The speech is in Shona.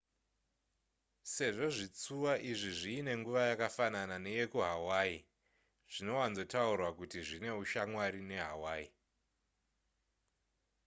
sezvo zvitsuwa izvi zviine nguva yakafanana neyekuhawaii zvinowanzotaurwa kuti zvine ushamwari nehawaii